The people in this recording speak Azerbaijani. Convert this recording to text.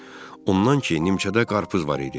Ondan ki, nimçədə qarpız var idi.